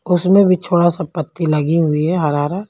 उसमें भी छोड़ा सा पत्ती लगी हुई है हरा हरा।